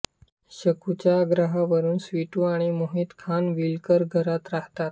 शकूच्या आग्रहावरून स्वीटू आणि मोहित खानविलकर घरात राहतात